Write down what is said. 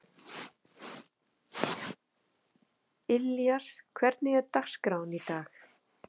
Ilías, hvernig er dagskráin í dag?